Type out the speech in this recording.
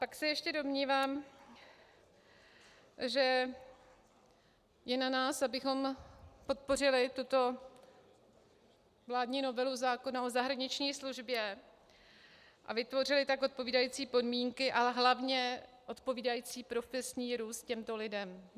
Pak se ještě domnívám, že je na nás, abychom podpořili tuto vládní novelu zákona o zahraniční službě a vytvořili tak odpovídající podmínky a hlavně odpovídající profesní růst těmto lidem.